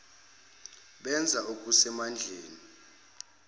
benza okuse mandleni